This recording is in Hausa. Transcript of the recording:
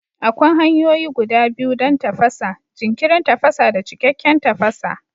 Akwai hanyoyi guda biyu don tafasa: jinkirin tafasa da cikakken tafasa.